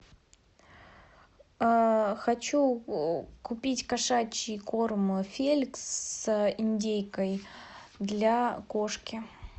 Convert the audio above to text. хочу купить кошачий корм феликс с индейкой для кошки